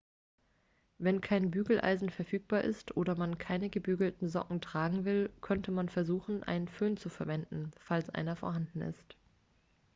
wenn kein bügeleisen verfügbar ist oder man keine gebügelten socken tragen will kann man versuchen einen föhn zu verwenden falls einer vorhanden ist